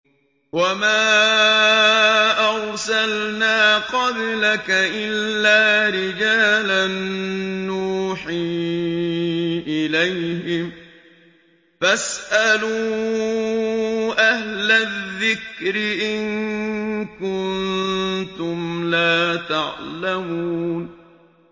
وَمَا أَرْسَلْنَا قَبْلَكَ إِلَّا رِجَالًا نُّوحِي إِلَيْهِمْ ۖ فَاسْأَلُوا أَهْلَ الذِّكْرِ إِن كُنتُمْ لَا تَعْلَمُونَ